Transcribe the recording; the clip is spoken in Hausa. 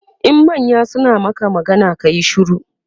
in manya suna Maka magana kayi shiru